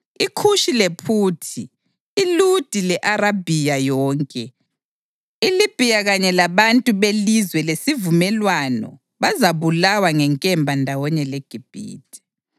IKhushi lePhuthi, iLudi le-Arabhiya yonke, iLibhiya kanye labantu belizwe lesivumelwano bazabulawa ngenkemba ndawonye leGibhithe.